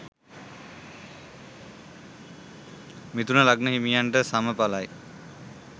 මිථුන ලග්න හිමියන්ට සමඵලයි